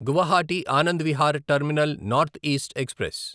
Guwahati Anand Vihar Terminal North East express